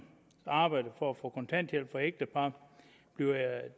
arbejde for at få kontanthjælp for ægtepar bliver